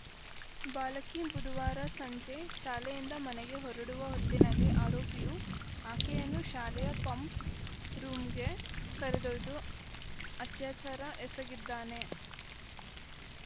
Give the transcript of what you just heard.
ಬಾಲಕಿ ಬುಧವಾರ ಸಂಜೆ ಶಾಲೆಯಿಂದ ಮನೆಗೆ ಹೊರಡುವ ಹೊತ್ತಿನಲ್ಲಿ ಆರೋಪಿಯು ಆಕೆಯನ್ನು ಶಾಲೆಯ ಪಂಪ್‌ ರೂಂಗೆ ಕರೆದೊಯ್ದು ಅತ್ಯಾಚಾರ ಎಸಗಿದ್ದಾನೆ